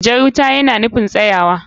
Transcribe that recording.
Jar wuta yana nufin tsaya.